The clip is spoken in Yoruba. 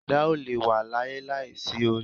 Ẹ̀dá ò lè wà láyé láìsí orí